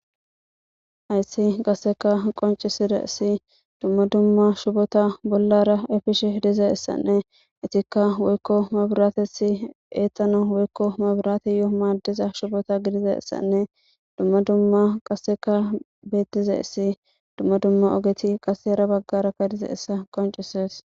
"Hayssi qassika qonccisizaysi dumma dumma shubota bollara efishe dizaysanne eetikka woykko mabrates eetanaw woyyko mabrateyo maadiza shubota gididaysanne dumma dumma qasikka beetizayssi dumma dumma ogeti qasse hara baggara dizaysa qonccises."